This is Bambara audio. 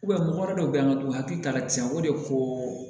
mɔgɔ dɔ bɛ yen an ka dugu hakili ta ka ca o de ko